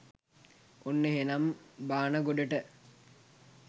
ඔන්න එහෙනම් බාන ගොඩට